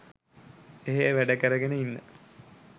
එහෙ වැඩකරගෙන ඉන්න